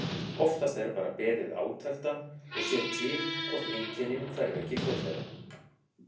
Oftast er bara beðið átekta og séð til hvort einkennin hverfi ekki fljótlega.